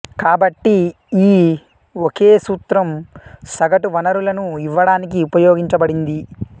కాబట్టి ఈ ఒకే సూత్రం సగటు వనరులను ఇవ్వడానికి ఉపయోగించబడింది